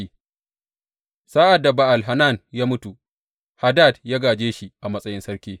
Sa’ad da Ba’al Hanan ya mutu, Hadad ya gāje shi a matsayin sarki.